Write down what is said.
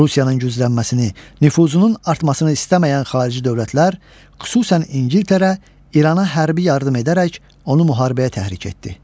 Rusiyanın güclənməsini, nüfuzunun artmasını istəməyən xarici dövlətlər, xüsusən İngiltərə İrana hərbi yardım edərək onu müharibəyə təhrik etdi.